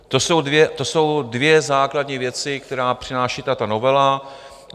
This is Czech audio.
To jsou dvě základní věci, které přináší tato novela.